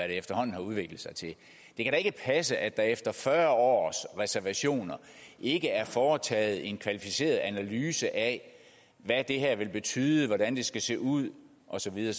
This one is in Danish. efterhånden har udviklet sig til det kan da ikke passe at der efter fyrre års reservationer ikke er foretaget en kvalificeret analyse af hvad det her vil betyde hvordan det skal se ud og så videre